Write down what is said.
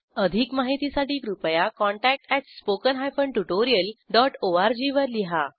अधिक माहितीसाठी कृपया contact at spoken hyphen tutorial dot ORG वर लिहा